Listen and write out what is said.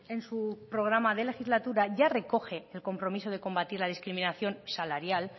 en su programa de legislatura ya recoge el compromiso de combatir la discriminación salarial